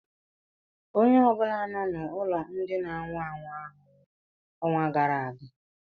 Onye ọ bụla nọ n'ụlọ ndị na anwụ anwụ ahụ nwụrụ n'ọnwa gara aga